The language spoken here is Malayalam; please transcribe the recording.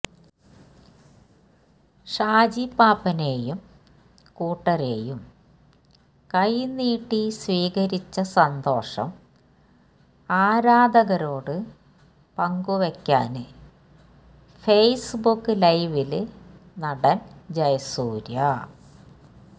ഷാജി പാപ്പാനെയും കൂട്ടരെയും കൈനീട്ടി സ്വീകരിച്ച സന്തോഷം ആരാധകരോട് പങ്കുവയ്ക്കാന് ഫേസ് ബുക്ക് ലൈവില് നടന് ജയസൂര്യ